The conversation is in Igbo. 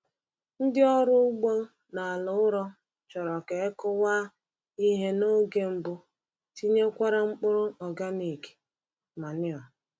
Ndị ọrụ ugbo n’ala ụrọ chọrọ ka e kụwa ihe n’oge mbụ tinyekwara mkpụrụ organic manure.